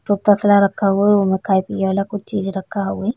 तो तसला रखा हुवा ओ में खाये-पिए वाला कुछ चीज रखा होवइ।